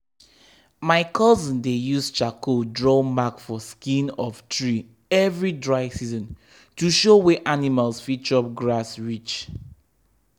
my cousin dey use charcoal draw mark for skin of tree every dry season to show where animals fit chop grass reach.